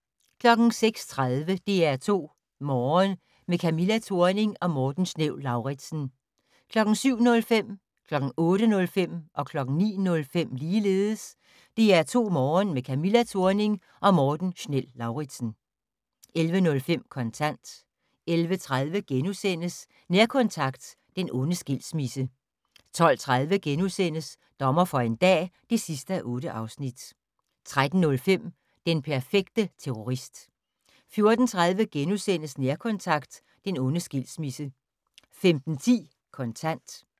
06:30: DR2 Morgen - med Camilla Thorning og Morten Schnell-Lauritzen 07:05: DR2 Morgen - med Camilla Thorning og Morten Schnell-Lauritzen 08:05: DR2 Morgen - med Camilla Thorning og Morten Schnell-Lauritzen 09:05: DR2 Morgen - med Camilla Thorning og Morten Schnell-Lauritzen 11:05: Kontant 11:30: Nærkontakt - den onde skilsmisse * 12:30: Dommer for en dag (8:8)* 13:05: Den perfekte terrorist 14:30: Nærkontakt - den onde skilsmisse * 15:10: Kontant